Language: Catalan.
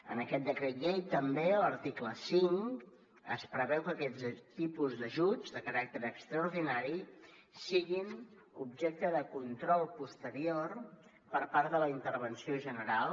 en aquest decret llei també a l’article cinc es preveu que aquests tipus d’ajuts de caràcter extraordinari siguin objecte de control posterior per part de la intervenció general